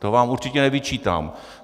To vám určitě nevyčítám.